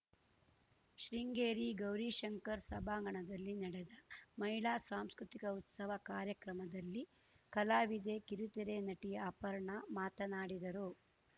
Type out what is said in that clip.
ಶೃಂಗೇರಿ ಗೌರೀಶಂಕರ್ ಸಭಾಂಗಣದಲ್ಲಿ ನಡೆದ ಮಹಿಳಾ ಸಾಂಸ್ಕೃತಿಕ ಉತ್ಸವ ಕಾರ್ಯಕ್ರಮದಲ್ಲಿ ಕಲಾವಿದೆ ಕಿರುತೆರೆ ನಟಿ ಅಪರ್ಣಾ ಮಾತನಾಡಿದರು